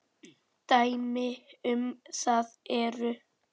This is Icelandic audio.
Dæmi um það eru